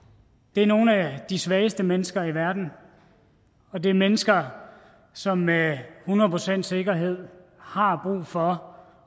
det er nogle af de svageste mennesker i verden og det er mennesker som med hundrede procents sikkerhed har brug for